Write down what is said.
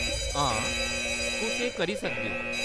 हां, तुस एह् करी सकदे ओ।